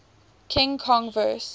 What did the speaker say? king kong vs